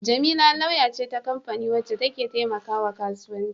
Jamila lauya ce ta kamfani wacce ke taimakawa kasuwanci.